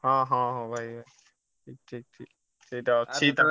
ହଁ ହଁ ହୋଉ ଭାଇ ଠିକ ଠିକ ଠିକ। ସେଟା ଅଛି